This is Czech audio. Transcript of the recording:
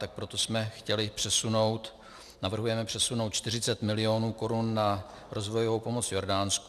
Tak proto jsme chtěli přesunout, navrhujeme přesunout 40 mil. korun na rozvojovou pomoc Jordánsku.